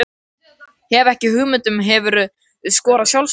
Hef ekki hugmynd Hefurðu skorað sjálfsmark?